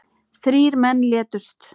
Þrír menn létust.